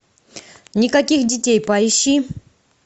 никаких детей поищи